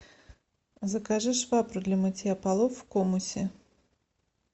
закажи швабру для мытья полов в комусе